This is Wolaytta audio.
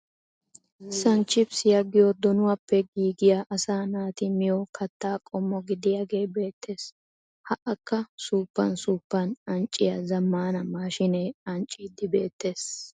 Sanchchippissiya giyo donuwappe giigiya asaa naati miyo katta qommo gidiyagee beettees, ha akka suuppan suuppan ancciya zammana maashinee ancciidi beettees.